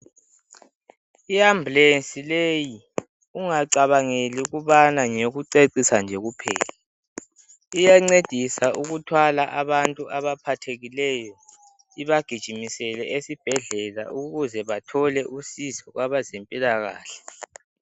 Iambulensi leyi ungacabangeli ukubana ngeyokucecisa nje kuphela, iyancedisa ukuthwala abantu abaphathekileyo ibagijimisele esibhedlela ukuze bathole usizo kwabezempilakahle.